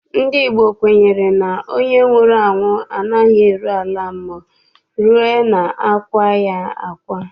Ndị Igbo kwenyere na onye nwụrụ anwụ anaghị eru ala mmụọ rue na akwaa ya akwa.